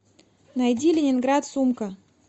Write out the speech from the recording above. найди ленинград сумка